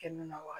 Kɛnɛ na wa